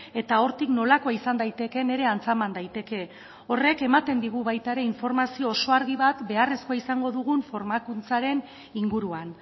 eta hortik nolakoa izan daitekeen ere antzeman daiteke horrek ematen digu baita ere informazio oso argi bat beharrezkoa izango dugun formakuntzaren inguruan